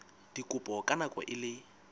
dikopo ka nako e le